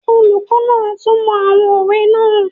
Olùkọ́ náà túnmọ̀ àwọn òwe náà